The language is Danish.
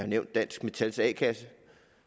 nævnt dansk metals a kasse